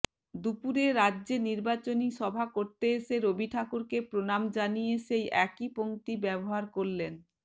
দুপুরে রাজ্যে নির্বাচনী সভা করতে এসে রবি ঠাকুরকে প্রণাম জানিয়ে সেই একই পঙ্ক্তিই ব্যবহার করলেন